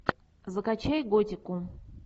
закачай готику